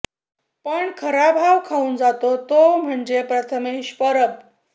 पण खरा भाव खाऊन जातो तो म्हणजे प्रथमेश परब